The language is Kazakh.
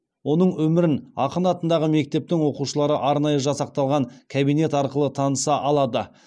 оның өмірін ақын атындағы мектептің оқушылары арнайы жасақталған кабинет арқылы таныса алады